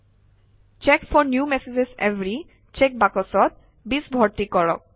check for new messages every check বাকচত 20 ভৰ্তি কৰক